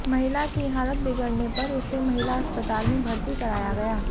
महिला की हालत बिगड़ने पर उसे महिला अस्पताल में भर्ती कराया गया